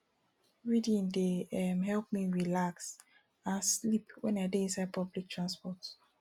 reading dey um help me relax and sleep wen i dey inside public transport